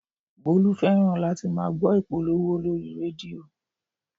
Bólú fẹ́ràn láti máa gbọ́ ìpolówó lórí rédíò